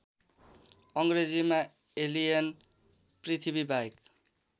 अङ्ग्रेजीमा एलियन पृथ्वीबाहेक